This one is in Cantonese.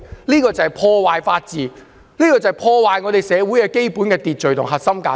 這個做法就是破壞法治，破壞我們社會的基本秩序及核心價值。